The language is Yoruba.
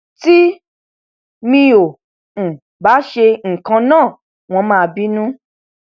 tí mi ò um bá ṣe nǹkan náà wọn máa bínú